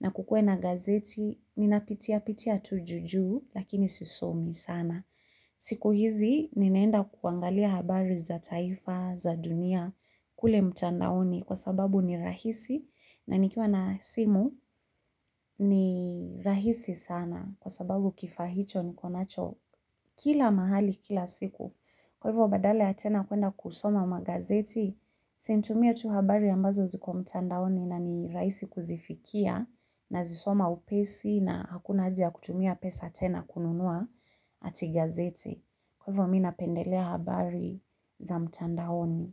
na kukuwe na gazeti, ninapitia pitia tu juujuu lakini sisomi sana. Siku hizi ninaenda kuangalia habari za taifa za dunia kule mtandaoni kwa sababu ni rahisi. Na nikiwa na simu ni rahisi sana kwa sababu kifaa hicho niko nacho kila mahali kila siku. Kwa hivyo badala ya tena kuenda kusoma magazeti, si nitumie tu habari ambazo ziko mtandaoni na ni rahisi kuzifikia nazisoma upesi na hakuna haja ya kutumia pesa tena kununua ati gazeti. Kwa hivyo mi napendelea habari za mtandaoni.